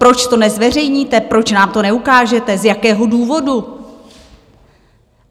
Proč to nezveřejníte, proč nám to neukážete, z jakého důvodu?